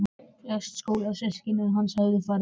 Flest skólasystkina hans höfðu farið heim.